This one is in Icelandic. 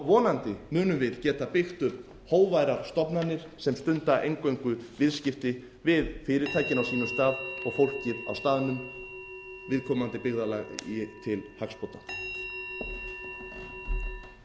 vonandi munum við geta byggt upp hógværar stofnanir sem stunda eingöngu viðskipti við fyrirtækin á sínum stað og fólkið á staðnum viðkomandi byggðarlagi til hagsbóta